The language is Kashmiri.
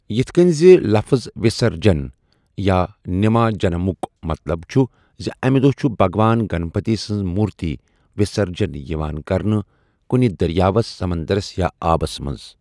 یِتھۍ کٔنۍ زِ لفٕظ 'وِسَرجَن' یا 'نِماجَنَمُک' مَطلَب چھُ زِ اَمہِ دۄہ چھُ بھگوان گنپتی سٕنٛزِ مُورتیہِ وِسَرجَن یِوان کَرنہٕ کُنہِ دٔرِیاوَس، سَمنٛدرَس یا آبَس منٛز۔